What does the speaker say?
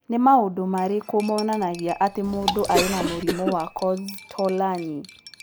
Nĩ maũndũ marĩkũ monanagia atĩ mũndũ arĩ na mũrimũ wa Kosztolanyi?